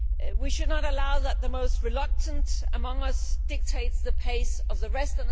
We should not allow the most reluctant among us to dictate the pace of the rest.